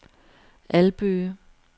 Albøge